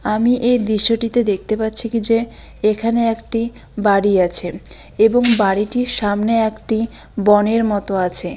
আমি এ দৃশ্যটিতে দেখতে পাচ্ছি কি যে এখানে একটি বাড়ি আছে এবং বাড়িটির সামনে একটি বনের মতো আছে।